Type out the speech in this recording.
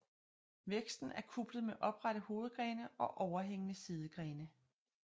Væksten er kuplet med oprette hovedgrene og overhængende sidegrene